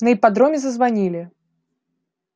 на ипподроме зазвонили